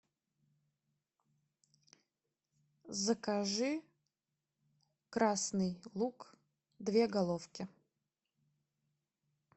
закажи красный лук две головки